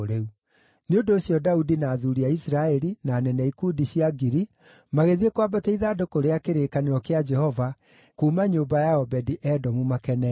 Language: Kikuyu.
Nĩ ũndũ ũcio Daudi na athuuri a Isiraeli, na anene a ikundi cia ngiri, magĩthiĩ kwambatia ithandũkũ rĩa kĩrĩkanĩro kĩa Jehova kuuma nyũmba ya Obedi-Edomu makenete.